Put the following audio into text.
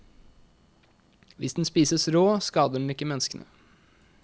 Hvis den spises rå, skader den ikke menneskene.